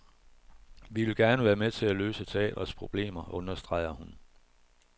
Vi vil gerne være med til at løse teatrets problemer, understreger hun.